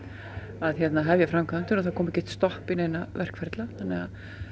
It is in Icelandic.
að hefja framkvæmdir og að það komi ekkert stopp í neina verkferla þannig að